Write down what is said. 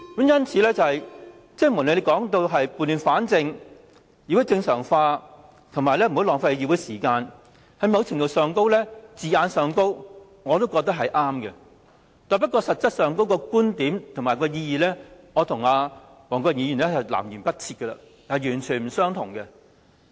因此，無論他說的理由是撥亂反正、議會正常化或不要浪費議會時間，我覺得某程度上字眼是正確的，但實際上，我跟黃國健議員的觀點南轅北轍，完全不相同。